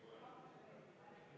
V a h e a e g